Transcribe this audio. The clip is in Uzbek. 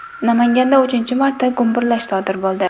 Namanganda uchinchi marta gumburlash sodir bo‘ldi.